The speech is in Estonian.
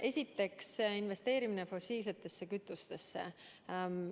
Esiteks, investeerimine fossiilsetesse kütustesse.